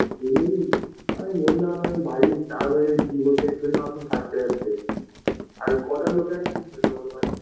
এমনি আমি বোললাম বাড়ির থাকতে থাকতে আর কটা লোকে আর চিনবে যে ওর বাড়ি